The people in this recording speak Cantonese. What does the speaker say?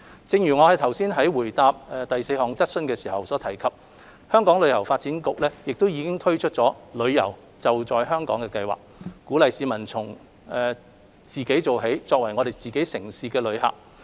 正如我剛才在回答第四項質詢時所提及，香港旅遊發展局已推出"旅遊.就在香港"計劃，鼓勵市民從自己做起，作為自己城市的旅客。